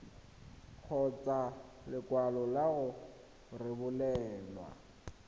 kgotsa lekwalo la go rebolelwa